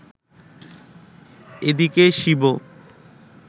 এদিকে শিব